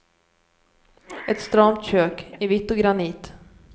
Ett stramt kök, i vitt och granit.